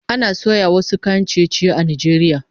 Ana soya wasu kayan ciye-ciye a Najeriya